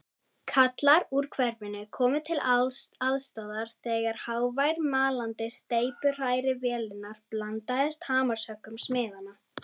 Kallar úr hverfinu komu til aðstoðar þegar hávær malandi steypuhrærivélarinnar blandaðist hamarshöggum smiðanna.